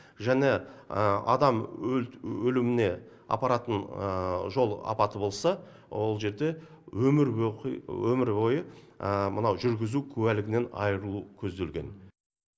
және адам өліміне апаратын жол апаты болса ол жерде өмір өмір бойы мынау жүргізу куәлігінен айырылу көзделген